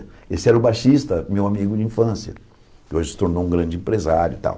Esse era o baixista, meu amigo de infância, que hoje se tornou um grande empresário e tal.